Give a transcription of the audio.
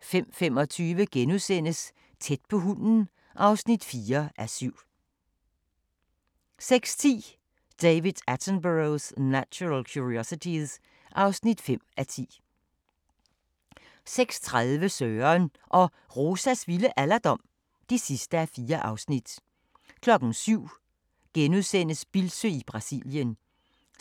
05:25: Tæt på hunden (4:7)* 06:10: David Attenborough's Natural Curiosities (5:10) 06:30: Søren og Rosas vilde alderdom (4:4) 07:00: Bildsøe i Brasilien